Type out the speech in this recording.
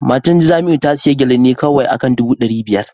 Matar Jamiu ta sayi Gele ne kawai akan dubu dari biyar